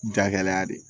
Jagɛlɛya de ye